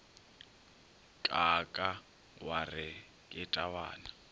kaaka wa re ke tabana